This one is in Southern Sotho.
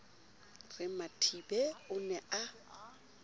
re mathibe o ne a